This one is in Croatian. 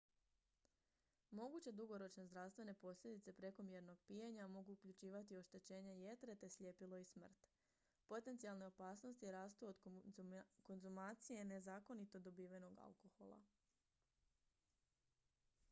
moguće dugoročne zdravstvene posljedice prekomjernog pijenja mogu uključivati oštećenje jetre te sljepilo i smrt potencijalne opasnosti rastu od konzumacije nezakonito dobivenog alkohola